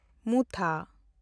ᱢᱩᱛᱷᱟ